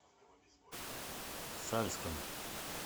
сальском